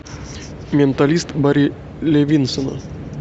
менталист барри левинсона